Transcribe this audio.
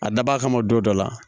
A dabɔ a kama don dɔ la